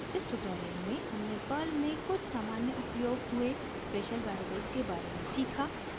इस ट्यूटोरियल में हमने पर्ल में कुछ सामान्य उपयोग हुए स्पेशल वेरिएबल्स के बारे में सीखा